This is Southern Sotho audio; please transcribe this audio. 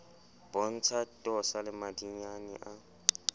bontshe tosa le madinyane a